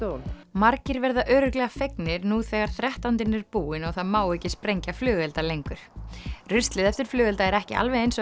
margir verða örugglega fegnir nú þegar þrettándinn er búinn og það má ekki sprengja flugelda lengur ruslið eftir flugelda er ekki alveg eins og